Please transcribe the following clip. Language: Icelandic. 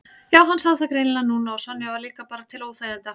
Já, hann sá það greinilega núna að Sonja var líka bara til óþæginda.